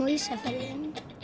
á Ísafirði